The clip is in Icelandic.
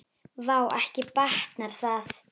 Vá, ekki batnar það!